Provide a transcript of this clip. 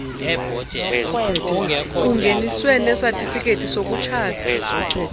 kungeniswe nesatifiketi sokutshata